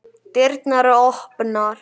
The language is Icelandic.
Dyrnar eru opnar.